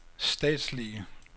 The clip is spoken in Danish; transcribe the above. statslige